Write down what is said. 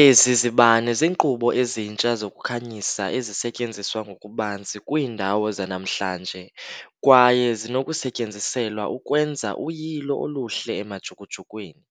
Ezi zibane ziinkqubo ezintsha zokukhanyisa ezisetyenziswa ngokubanzi kwiindawo zanamhlanje, kwaye zinokusetyenziselwa ukwenza uyilo oluhle emajukujukwini.